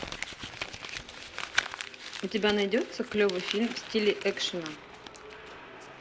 у тебя найдется клевый фильм в стиле экшена